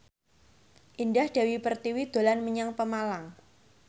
Indah Dewi Pertiwi dolan menyang Pemalang